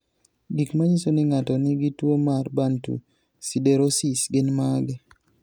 Gik manyiso ni ng'ato nigi tuwo mar Bantu siderosis gin mage?